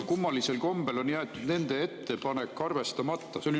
Kummalisel kombel on jäetud nende ettepanek arvestamata.